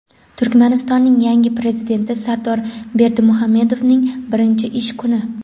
Turkmanistonning yangi Prezidenti Sardor Berdimuhamedovning birinchi ish kuni.